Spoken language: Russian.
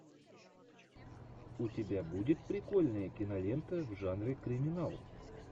у тебя будет прикольная кинолента в жанре криминал